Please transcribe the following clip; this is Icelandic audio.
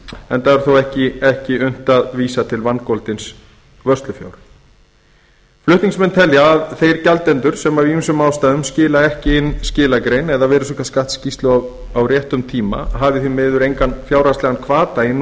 enda er þá ekki unnt að vísa til vangoldins vörslufjár flutningsmenn telja að þeir gjaldendur sem af ýmsum ástæðum skila ekki inn skilagrein eða virðisaukaskattsskýrslu á réttum tíma hafi því miður engan fjárhagslegan hvata